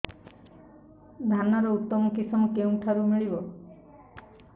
ଧାନର ଉତ୍ତମ କିଶମ କେଉଁଠାରୁ ମିଳିବ